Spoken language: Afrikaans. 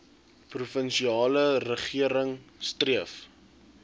provinsiale regering streef